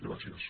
gràcies